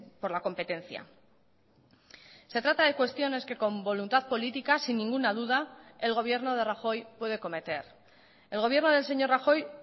por la competencia se trata de cuestiones que con voluntad política sin ninguna duda el gobierno de rajoy puede cometer el gobierno del señor rajoy